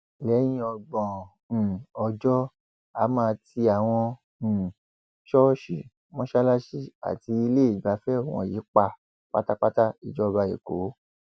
lẹyìn ọgbọn um ọjọ á máa ti àwọn um ṣọọṣì mọṣáláṣí àti iléegbafẹ wọnyí pa pátápátá ìjọba ẹkọọ